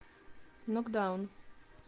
нокдаун